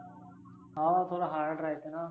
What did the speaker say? हाव थोड hard राहीते.